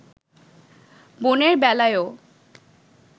বোনের বেলায়ও